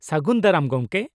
ᱥᱟᱹᱜᱩᱱ ᱫᱟᱨᱟᱢ ᱜᱚᱝᱠᱮ ᱾